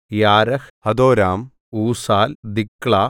യാരഹ് ഹദോരാം ഊസാൽ ദിക്ലാ